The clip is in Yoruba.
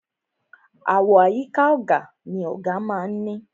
Àwo àyíká ọ̀gà ni ọ̀gà má a ń ní.